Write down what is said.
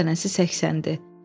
Qar dənəsi səksəndi.